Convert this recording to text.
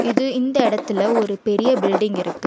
இது இந்த எடத்துல ஒரு பெரிய பில்டிங் இருக்கு.